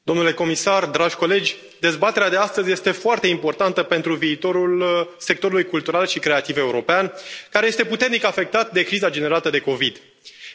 Doamnă președintă, domnule comisar, dragi colegi, dezbaterea de astăzi este foarte importantă pentru viitorul sectorului cultural și creativ european, care este puternic afectat de criza generată de COVID 19.